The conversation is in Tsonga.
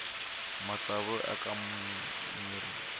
matsavu ya aka mirhi